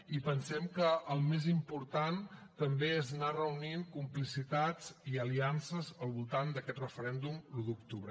i pensem que el més important també és anar reunint complicitats i aliances al voltant d’aquest referèndum l’un d’octubre